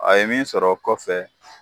A ye min sɔrɔ kɔfɛ.